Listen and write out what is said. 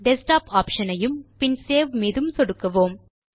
desktop option ஐயும் பின் save மீதும் சொடுக்குவோம்